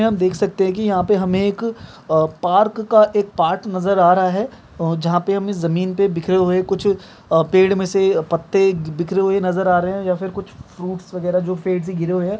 यहां आप देख सकते है कि यहां पर हमे एक अ पार्क का एक पार्ट नजर आ रहा है जहां पर हमे जमीन पे बिखरे हुए कुछ अ पेड़ में से पत्ते बिखरे हुए नजर आ रहे हैं या फिर कुछ फ्रूट्स वगैरा जो पेड़ से गिरे हुए हैं।